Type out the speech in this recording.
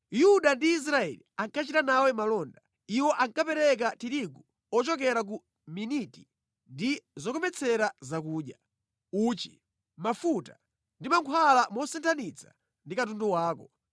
“Yuda ndi Israeli ankachita nawe malonda. Iwo ankapereka tirigu ochokera ku Miniti ndi zokometsera zakudya, uchi, mafuta ndi mankhwala mosinthanitsa ndi katundu wako.